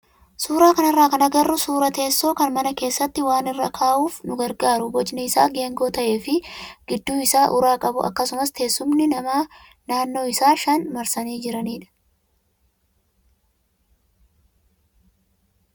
suuraa kanarraa kan agarru suuraa teessoo kan mana keessatti waa irra kaa'uuf nu gargaaru bocni isaa geengoo ta'ee fi gidduu isaa uraa qabu akkasumas teessumni namaa naannoo isaa shan marsanii jiranidha.